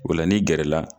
O la n'i gɛrɛ la